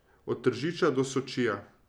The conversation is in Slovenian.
Od Tržiča do Sočija.